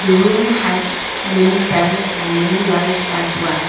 room has many fans and many lights as well.